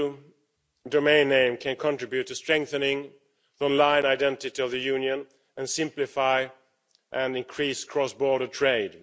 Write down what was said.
.eu domain name can contribute to strengthening the online identity of the Union and simplify and increase cross border trade.